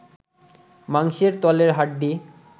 মাংসের তলে হাড্ডি